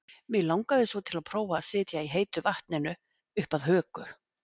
Mig langaði svo til að prófa að sitja í heitu vatninu upp að höku.